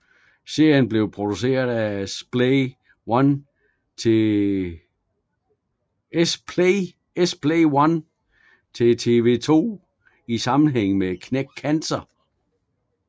Serien blev produceret af Splay One til TV 2 i sammenhæng med Knæk Cancer